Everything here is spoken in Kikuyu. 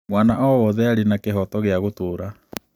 Mwana o wothe arĩ na kĩhooto gĩa gũtũũra.